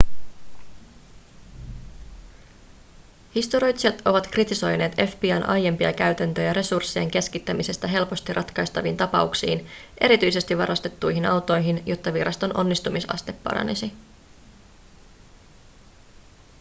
historioitsijat ovat kritisoineet fbi:n aiempia käytäntöjä resurssien keskittämisestä helposti ratkaistaviin tapauksiin erityisesti varastettuihin autoihin jotta viraston onnistumisaste paranisi